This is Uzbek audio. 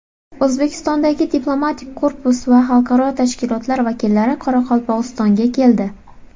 O‘zbekistondagi diplomatik korpus va xalqaro tashkilotlar vakillari Qoraqalpog‘istonga keldi.